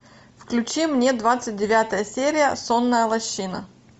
включи мне двадцать девятая серия сонная лощина